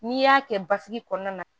N'i y'a kɛ basigi kɔnɔna na